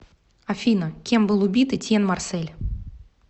афина кем был убит этьен марсель